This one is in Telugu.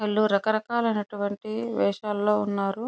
వీళ్లు రకరకాలు అయినటువంటి వేషాలు లో ఉన్నారు.